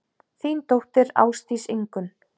Þín dóttir, Ásdís Ingunn.